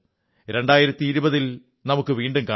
2020 ൽ നമുക്ക് വീണ്ടും കാണാം